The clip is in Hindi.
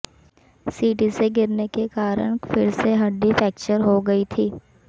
सीढ़ी से गिरने के कारण फिर से हड्डी फ्रैक्चर हो गई थी